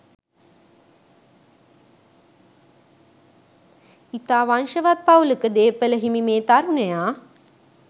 ඉතා වංශවත් පවුලක දේපළ හිමි මේ තරුණයා